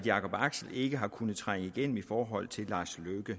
jakob axel ikke har kunnet trænge igennem i forhold til lars løkke